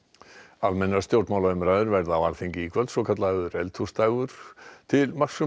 almennar stjórnmálaumræður verða á Alþingi í kvöld svokallaður eldhúsdagur til marks um